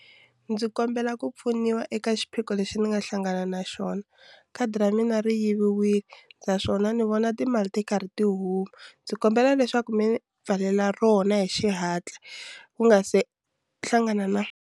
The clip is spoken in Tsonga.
Ndzi kombela ku pfuniwa eka xiphiqo lexi ni nga hlangana na xona khadi ra mina ri yiviwile naswona ni vona timali ti karhi tihuma ndzi kombela leswaku mi pfalela rona hi xihatla ku nga se hlangana na.